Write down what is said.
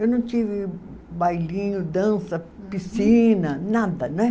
Eu não tive bailinho, dança, piscina, nada, né?